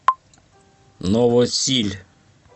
новосиль